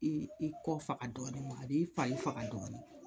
I i kɔ faka dɔɔni a b'i fari faka dɔɔni